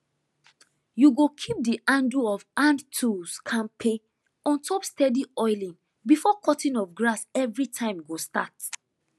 you go keep the handle of handtools kampe ontop steady oiling before cutting of grass everytime go start